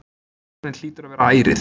Tilefnið hlýtur að vera ærið.